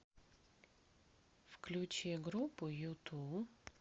включи группу юту